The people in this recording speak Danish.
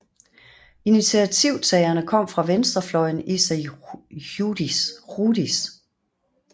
Initiativtagerne kom fra venstrefløjen i Sąjūdis